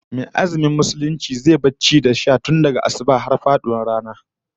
Mai azumi Musulmi zai bar ci da sha tun daga asubah har zuwa faduwar rana